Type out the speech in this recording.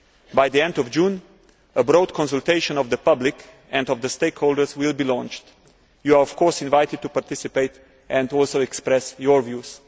By the end of June, a broad consultation of the public and of the stakeholders will be launched. You are, of course, invited to participate and also express your views.